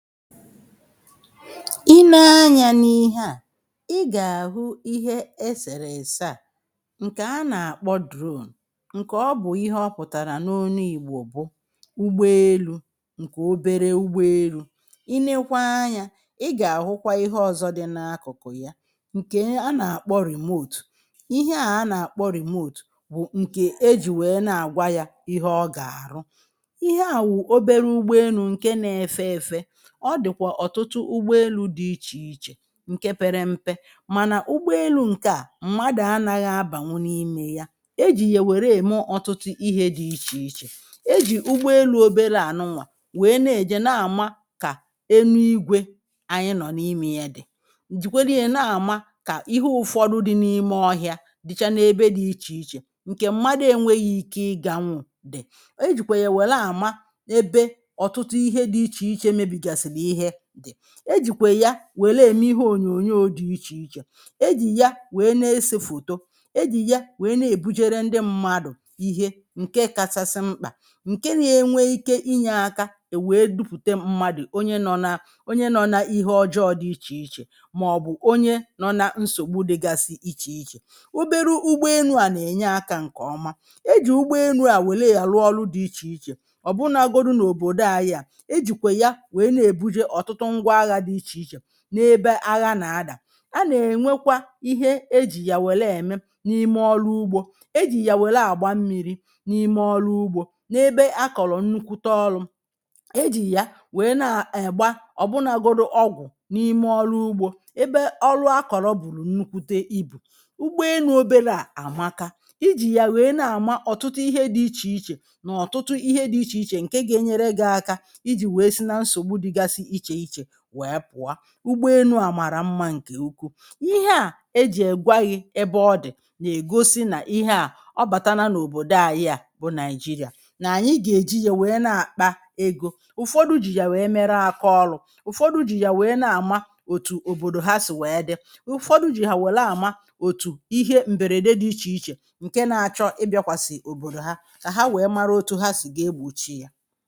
I nee anya n’ihe a i ga-ahụ ihe esere ese a nke a na-akpọ drone nke ọ bụ̀ ihe ọ pụ̀tara n’ọnụ ìgbọ̀ bụ ụgbọ elụ nke ọbere ụgba elụ i nekwa anya i ga-ahụkwa ihe ọ̀zọ dị n’akụ̀kụ̀ ya nke a na-akpọ ‘remote’ ihe a a na-akpọ ‘remote’ bụ̀ nke e jì wee na-agwa ya ihe ọ ga-arụ. Ihe a wụ̀ ọbere ụgbọ elụ nke na-efe efe ọ dị̀kwa ọ̀tụtụ ụgbọ elụ dị iche iche nke pere mpe mana ụgbọ elụ nke a mmadụ̀ anaghị abanwụ n’ime ya ejì ye were eme ọ̀tụtụ ihe dị̇ iche iche ejì ụgbọelụ ọbere anụnwa wee na-eje na-ama ka enụ igwe anyị nọ̀ n’ime ya dị̀ jìkwere ya na-ama ka ihe ụ̀fọdụ dị n’ime ọhịa dịcha n’ebe dị iche iche nke mmadụ enweghi̇ ike ịganwụ̇ dị̀ e jìkwe ya wel ama ebe ọ̀tụtụ ihe dị̇ iche iche mebi gasili ihe dị. Ejikwa ya wele eme ihe ọ̀nyọ̀nyọ dị iche iche ejì ya wee na-ese fọ̀tọ ejì ya wee na-ebụjere ndị mmadụ̀ ihe nke kachasị mkpa nke na-enwe ike inye aka e wee dụpụ̀te mmadụ̀ ọnye nọ̇ na ọnye nọ̇ na ihe ọjọọ dị iche iche maọbụ̀ ọnye nọ̇ na nsọ̀gbụ dịgasi iche iche ọberụ ụgbọ enụ a na-enye aka nke ọma e jì ụgbọ enụ a wele ya rụọ ọrụ dị iche iche ọ̀ bụnagọdụ n’ọ̀bọ̀dọ ayị a, ejikwe ya wee na ebụje ọtụtụ ngwa agha di iche iche n’ebe agha na-ada a na-enwekwa ihe ejì ya wele eme n’ime ọlụ ụgbȯ ejì ya wele agba mmi̇ri̇ n’ime ọlụ ụgbȯ n’ebe akọ̀lọ̀ nnụkwụ te ọlụ̇ ejì ya wee na egba ọ̀bụnagọdụ ọgwụ̀ n’ime ọlụ ụgbȯ ebe ọlụ akọ̀lọ̀ bụ̀rụ̀ nnụkwụte ibụ̀. Ụgbọ enụ ọbere a amaka ijì ya wee na-ama ọ̀tụtụ ihe dị iche iche na ọ̀tụtụ ihe dị iche iche nke ga-enyere gị aka iji wee si na nsọgbụ dịgasi iche iche wee pụọ. Ụgbọ enụ a mara mma nke ụkwụụ ihe a ejì egwaghi ebe ọ dị̀ na-egọsi na ihe a ọ batana n’ọ̀bọ̀dọ ayị a bụ̀ Naịjiria na anyị ga-eji ya wee na-akpa egȯ ụ̀fọdụ jì ya wee mere akaọlụ̇ ụ̀fọdụ jì ya wee na-ama ọ̀tụ̀ ọ̀bọ̀dọ̀ ha sì wee dị ụ̀fọdụ jì ya wele ama ọ̀tụ̀ ihe m̀berede dị iche iche nke na-achọ ịbịakwa sì ọ̀bọ̀dọ̀ ha ka ha wee mara ọtụ ha sì ga egbọ̀chi ya